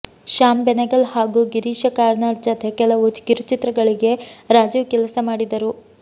ಶ್ಯಾಮ್ ಬೆನೆಗಲ್ ಹಾಗೂ ಗಿರೀಶ ಕಾರ್ನಾಡ್ ಜತೆ ಕೆಲವು ಕಿರುಚಿತ್ರಗಳಿಗೆ ರಾಜೀವ್ ಕೆಲಸ ಮಾಡಿದರು